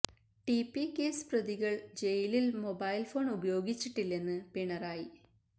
T P case പ്രതികള് ജയിലില് mobile phone ഉപയോഗിച്ചിട്ടില്ലെന്ന് പിണറായി